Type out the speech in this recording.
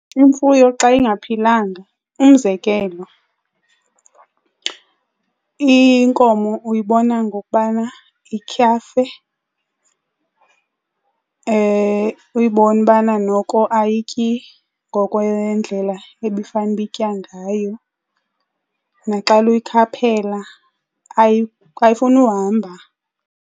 Imfuyo xa ingaphilanga, umzekelo inkomo, uyibona ngokubana ityhafe, uyibone ubana noko ayityi ngokwendlela ebifanuba itya ngayo. Naxana uyikhaphela ayifuni uhamba.